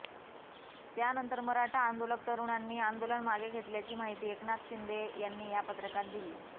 त्यानंतर मराठा आंदोलक तरुणांनी आंदोलन मागे घेतल्याची माहिती एकनाथ शिंदे यांनी या पत्रकात दिली